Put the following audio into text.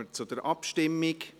Dann kommen wir zur Abstimmung.